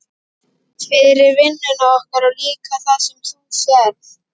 Fyrir vinnuna okkar og líka fyrir það sem þú sérð.